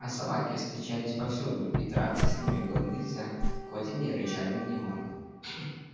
а собаки встречались повсюду и драться с ними было нельзя хоть они и рычали на него